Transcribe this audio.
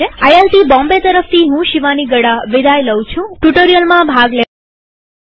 IIT Bombay તરફથી હું શિવાની ગડા વિદાય લઉં છુંટ્યુ્ટોરીઅલમાં ભાગ લેવા આભાર